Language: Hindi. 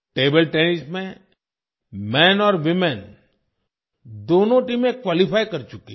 Table Tennis में मेन और वूमेन दोनों टीमें क्वालिफाई कर चुकी हैं